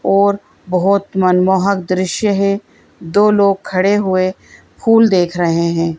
और बहुत मनमोहक दृश्य है दो लोग खड़े हुए फूल देख रहे हैं।